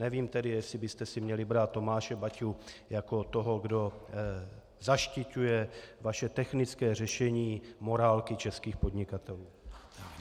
Nevím tedy, jestli byste si měli brát Tomáše Baťu jako toho, kdo zaštiťuje vaše technické řešení morálky českých podnikatelů.